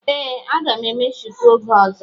Ee, a ga m eme shuku oge ọzọ.